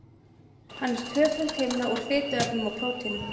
Hann er tvöföld himna úr fituefnum og prótínum.